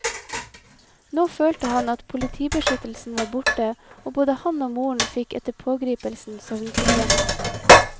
Nå følte han at politibeskyttelsen var borte, og både han og moren fikk etter pågripelsen søvnproblemer.